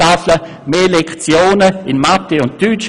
beispielsweise mit mehr Lektionen in Mathematik und Deutsch.